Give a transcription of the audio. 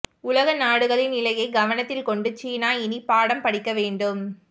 உலக நாடுகளின் நிலையை கவனத்தில் கொண்டு சீனா இனி பாடம் படிக்க வேண்டும்